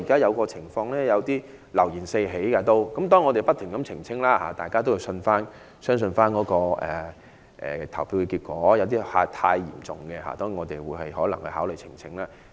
現在流言四起，我們已不斷澄清，令大家信服投票結果，而問題太嚴重的，我們會考慮提出呈請。